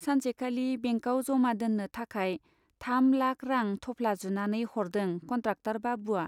सानसेखालि बेंकआव जमा दोन्नो थाखाय थाम लाख रां थफ्ला जुनानै हरदों कन्ट्राक्टर बाबुवा।